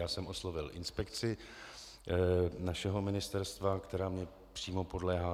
Já jsem oslovil inspekci našeho ministerstva, která mi přímo podléhá.